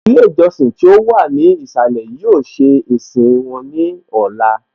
Ilé ìjọsìn tí ó wà ní ìsàlẹ̀ yóò ṣe ìsìn wọn ní Ọla